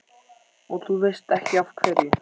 Og þú veist ekki af hverju?